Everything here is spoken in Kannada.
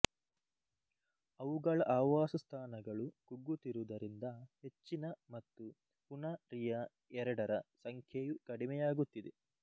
ಅವುಗಳ ಆವಾಸಸ್ಥಾನಗಳು ಕುಗ್ಗುತ್ತಿರುವುದರಿಂದ ಹೆಚ್ಚಿನ ಮತ್ತು ಪುನಾ ರಿಯಾ ಎರಡರ ಸಂಖ್ಯೆಯು ಕಡಿಮೆಯಾಗುತ್ತಿದೆ